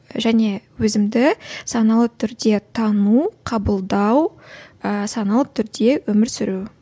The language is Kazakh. және өзімді саналы түрде тану қабылдау ыыы саналы түрде өмір сүру